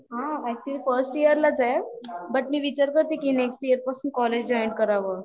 ह actually first इयरला च आहे, बट मी विचार करत होते की नेक्स्ट इयरला पासून कॉलेज जॉईन करावं